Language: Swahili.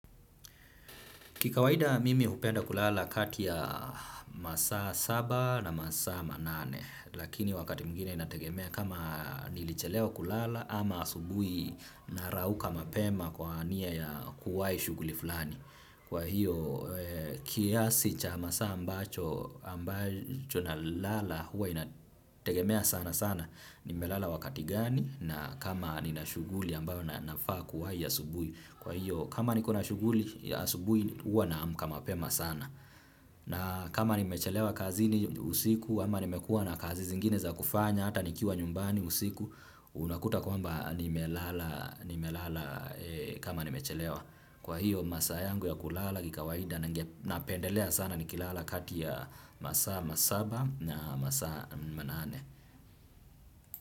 Kikawaida mimi hupenda kulala kati ya masaa saba na masaa manane lakini wakati mwingine inategemea kama nilichelewa kulala ama asubuhi narauka mapema kwa nia ya kuwahi shughli fulani. Kwa hiyo kiasi cha masaa ambacho nalala huwa inategemea sana sana nimelala wakati gani na kama nina shughli ambayo na faa kuwahi asubuhi. Kwa hiyo kama nikona shughuli ya asubui huwa naamka mapema sana na kama nimechelewa kazini usiku ama nimekuwa na kazi zingine za kufanya hata nikiwa nyumbani usiku. Unakuta kwamba nimelala kama nimechelewa kwa hiyo masaa yangu ya kulala ni kawaida. Napendelea sana nikilala kati ya masaa masaba na masaa manane.